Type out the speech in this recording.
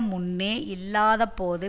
முன்னே இல்லாதபோது